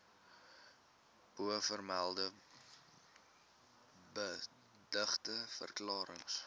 bovermelde beëdigde verklarings